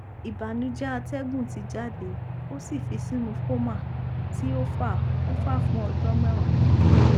ibanujẹ atẹgun ti jade o fi sinu coma ti o fa o fa fun ọjọ mẹwa